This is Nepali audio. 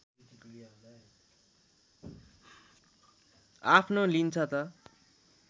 आफ्नो लिन्छ त